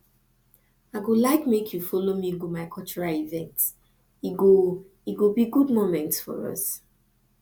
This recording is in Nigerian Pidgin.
i go like make you follow me go my cultural event e go e go be good moment for us